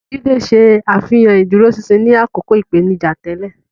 Jide ṣe àfihàn ìdúróṣinṣin ní àkókò ìpèníjà tẹ́lẹ̀.